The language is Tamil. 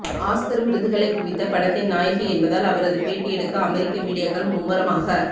ஆஸ்கர் விருதுகளைக் குவித்த படத்தின் நாயகி என்பதால் அவரது பேட்டி எடுக்க அமெரிக்க மீடியாக்கள் மும்முரமாக